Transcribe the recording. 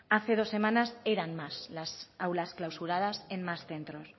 hace dos semanas eran más las aulas clausuradas en más centros